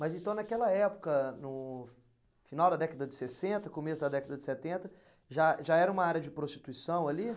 Mas então naquela época, no final da década de sessenta, começo da década de setenta, já já era uma área de prostituição ali?